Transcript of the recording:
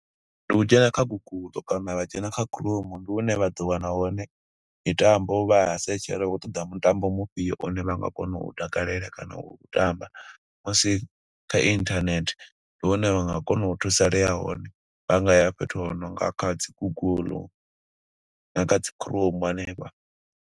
Ndi u dzhena kha Google kana vha dzhena kha Chrome, ndi hune vha ḓo wana hone mitambo vha a setshela u khou ṱoḓa mutambo mufhio, une vha nga kona u u takalela kana u u tamba, musi kha internet. Ndi hone vha nga kona u thusalea hone vha nga ya fhethu hu nonga kha dzi Google na kha dzi Chrome hanefha.